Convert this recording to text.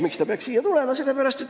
Miks ta peaks siia tulema?